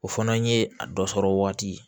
O fana ye a dɔ sɔrɔ waati ye